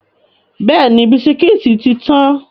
Bẹ́ẹ̀ni, bisikítì tí tán.